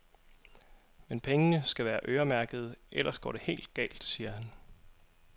Men pengene skal være øremærkede, ellers går det helt galt, siger han.